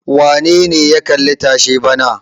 Wane ne ya kalli tashe bana?